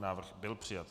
Návrh byl přijat.